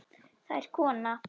Það er kona.